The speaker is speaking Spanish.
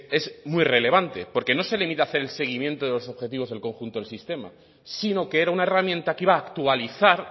es muy relevante porque no se limita a hacer el seguimiento de los objetivos del conjunto del sistema sino que era una herramienta que iba a actualizar